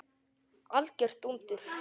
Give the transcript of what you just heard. Algjört dúndur!